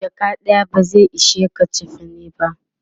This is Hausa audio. jaka ɗaya ba zai ishe ka chefane ba